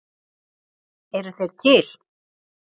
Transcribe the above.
Eru þeir til?